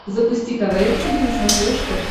запусти квн тиви на смотрешке